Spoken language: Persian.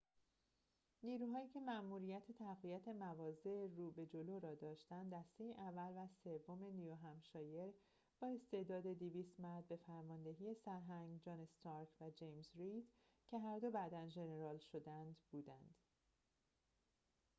نیروهایی که ماموریت تقویت مواضع رو به جلو را داشتند، دسته اول و سوم نیوهمپشایر با استعداد 200 مرد به فرماندهی سرهنگ جان استارک و جیمز رید که هر دو بعدا ژنرال شدند بودند